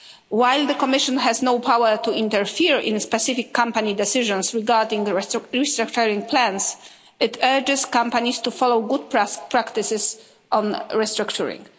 While the Commission has no power to interfere in specific company decisions regarding the restructuring plans, it urges companies to follow good practices on restructuring.